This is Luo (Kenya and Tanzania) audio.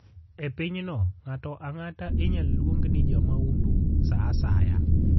E pinyno, ng'ato ang'ata inyalo luong ni jamahundu sa asaya.